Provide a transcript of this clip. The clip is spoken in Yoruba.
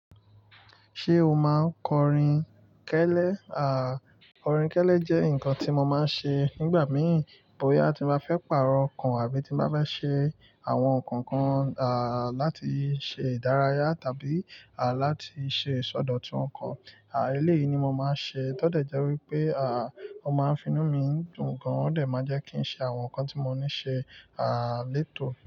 Ṣé o máa ń kọrin kẹ́lẹ́? Kọrin kẹ́lẹ́ jẹ́ nǹkan tí mo máa ń ṣe nígbà mìí bóyá tí mo bá fẹ́ pàrọ̀ ọkàn àbí tí mo bá fẹ́ ṣe àwọn ǹkan kan, à, láti ṣe ìdárayá tàbí, à, láti ṣe ìsọdọ̀tun ǹkan. À, eléyìí ni mo máa ń ṣe. Tódẹ̀ jẹ́ wípé, ó máa ń fi inú mi dùn gan, ó dà máa jẹ́ kí n ṣe àwọn ǹkan tí mo ní ṣe, létòó.